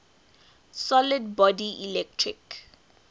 solid body electric